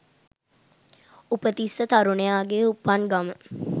උපතිස්ස තරුණයාගේ උපන් ගම